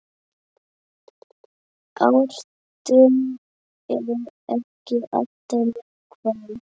Ártöl eru ekki alltaf nákvæm